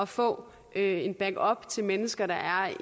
få en backup til mennesker der er